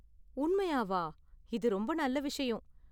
உண்மையாவா? இது ரொம்ப நல்ல விஷயம்.